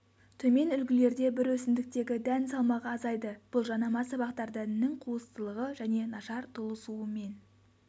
төмен үлгілерде бір өсімдіктегі дән салмағы азайды бұл жанама сабақтар дәнінің қуыстылығы және нашар толысуымен